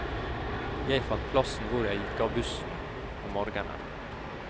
Jeg fant plassen hvor jeg gikk av bussen om morgenen.